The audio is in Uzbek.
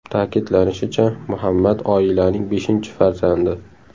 Ta’kidlanishicha, Muhammad oilaning beshinchi farzandi.